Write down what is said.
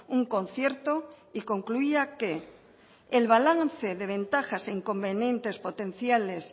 un concierto y concluía que el balance de ventajas e inconvenientes potenciales